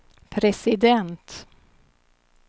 president